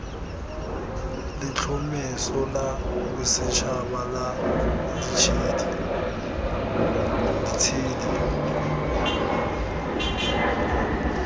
letlhomeso la bosetšhaba la ditshedi